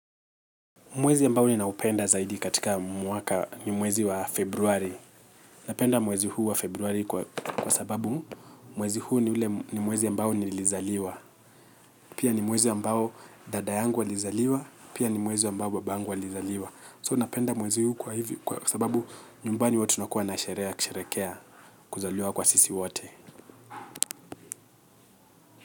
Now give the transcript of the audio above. Mwezi ambao ni naupenda zaidi katika mwaka ni mwezi wa februari. Napenda mwezi huu wa februari kwa sababu mwezi huu ni mwezi ya mbao ni lizaliwa. Pia ni mwezi ambao dada yangu alizaliwa, pia ni mwezi ambao baba yangu alizaliwa. So napenda mwezi huu kwa hivi kwa sababu nyumbani huwa tunakuwa na sherehe ya kusherekea, kuzaliwa kwa sisi wate.